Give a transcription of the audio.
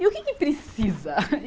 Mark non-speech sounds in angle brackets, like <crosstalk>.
E o que que precisa? <laughs>